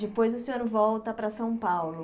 Depois o senhor volta para São Paulo.